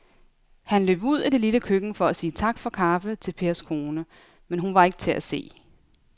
Han løb ud i det lille køkken for at sige tak for kaffe til Pers kone, men hun var ikke til at se.